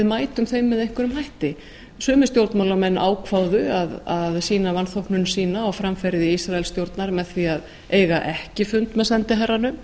mætum þeim með einhverjum hætti sumir stjórnmálamenn ákváðu að sýna vanþóknun sína og framferði ísraelsstjórnar með því að eiga ekki fund með sendiherranum